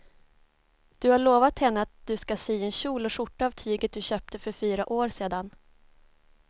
Du har lovat henne att du ska sy en kjol och skjorta av tyget du köpte för fyra år sedan.